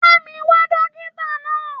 Bá mi wá dókítà náà.